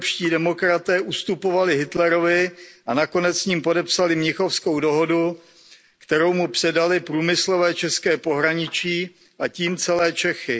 evropští demokraté ustupovali Hitlerovi a nakonec s ním podepsali Mnichovskou dohodu, kterou mu předali průmyslové české pohraničí a tím celé Čechy.